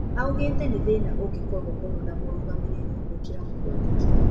Aũgĩte nĩ thina ũngĩkorũo mũno na mũrũgamĩrĩri gũkĩra mũkwandĩki